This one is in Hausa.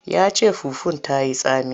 Ya ce fufun ta yi tsami.